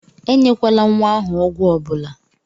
E nyekwala nwa ahụ ọgwụ ọbụla!